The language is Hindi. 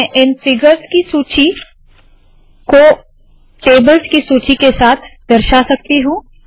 मैं इन फिगर्स की सूची को टेबल्स की सूची के साथ दर्शा सकती हूँ